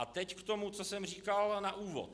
A teď k tomu, co jsem říkal na úvod.